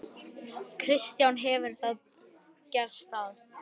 Kristján: Hefur það gerst að?